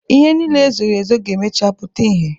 Ihe niile e zoro ezo ga-emechaa puta ihe.